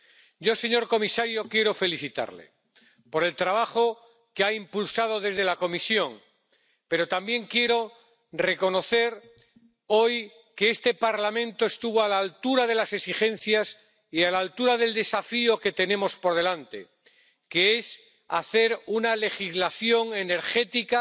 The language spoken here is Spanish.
Yo, señor comisario, quiero felicitarle por el trabajo que ha impulsado desde la Comisión, pero también quiero reconocer hoy que este Parlamento estuvo a la altura de las exigencias y a la altura del desafío que tenemos por delante, que es hacer una legislación energética